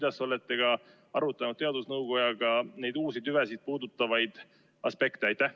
Kas te olete arutanud teadusnõukojaga neid uusi tüvesid puudutavaid aspekte?